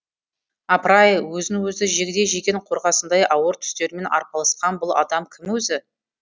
апыр ай өзін өзі жегідей жеген қорғасындай ауыр түстерімен арпалысқан бұл адам кім өзі